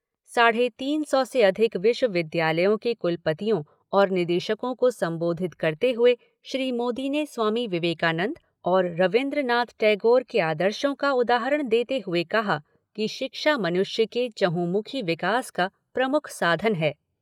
साढ़े तीन सौ से अधिक विश्वविद्यालयों के कुलपतियों और निदेशकों को संबोधित करते हुए श्री मोदी ने स्वामी विवेकानंद और रवीन्द्र नाथ टैगोर के आदर्शों का उदाहरण देते हुए कहा कि शिक्षा मनुष्य के चहुंमुखी विकास का प्रमुख साधन है।